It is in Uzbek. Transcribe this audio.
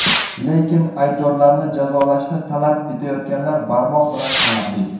Lekin aybdorlarni jazolashni talab etayotganlar barmoq bilan sanarli.